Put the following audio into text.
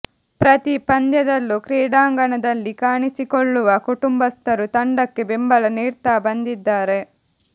ಪ್ರತಿ ಪಂದ್ಯದಲ್ಲೂ ಕ್ರೀಡಾಂಗಣದಲ್ಲಿ ಕಾಣಿಸಿಕೊಳ್ಳುವ ಕುಟುಂಬಸ್ಥರು ತಂಡಕ್ಕೆ ಬೆಂಬಲ ನೀಡ್ತಾ ಬಂದಿದ್ದಾರೆ